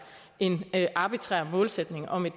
en arbitrær målsætning om en